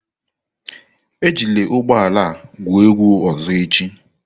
Ejila ụgbọ ala a egwu egwu ọzọ echi!